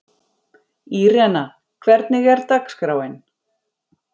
Írena, hvernig er dagskráin?